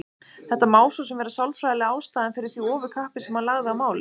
Þetta má svo sem vera sálfræðilega ástæðan fyrir því ofurkappi sem hann lagði á málið.